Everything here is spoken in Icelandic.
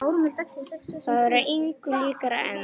Það var engu líkara en.